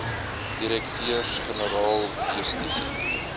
direkteurs generaal justisie